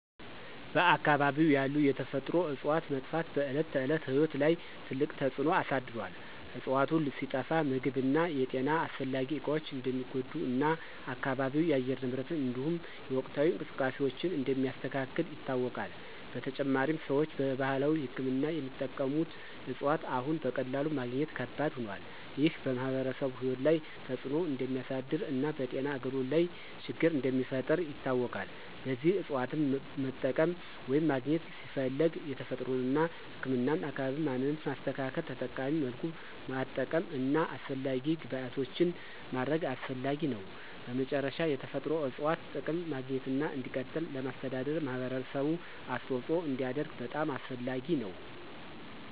በአካባቢው ያሉ የተፈጥሮ እፅዋት መጥፋት በዕለት ተዕለት ሕይወት ላይ ትልቅ ተጽዕኖ አሳድሮአል። እፅዋቱ ሲጠፋ ምግብ እና የጤና አስፈላጊ እቃዎች እንደሚጎዱ እና አካባቢው የአየር ንብረትን እንዲሁም የወቅታዊ እንቅስቃሴዎችን እንደሚያስተካክል ይታወቃል። በተጨማሪም፣ ሰዎች በባህላዊ ሕክምና የሚጠቀሙት እፅዋት አሁን በቀላሉ ማግኘት ከባድ ሆኗል። ይህ በማኅበረሰቡ ሕይወት ላይ ተጽዕኖ እንደሚያሳድር እና በጤና አገልግሎት ላይ ችግር እንደሚፈጥር ይታወቃል። ለዚህ እፅዋትን መጠቀም ወይም ማግኘት ሲፈለግ የተፈጥሮን እና ህክምናን አካባቢ ማንነት ማስተካከል፣ ተጠቃሚ መልኩ ማጠቀም እና አስፈላጊ ግብዓቶችን ማድረግ አስፈላጊ ነው። በመጨረሻ፣ የተፈጥሮ እፅዋት ጥቅም ማግኘትና እንዲቀጥል ለማስተዳደር ማህበረሰቡ አስተዋጽኦ እንዲያደርግ በጣም አስፈላጊ ነው።